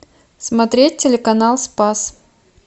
смотреть телеканал спас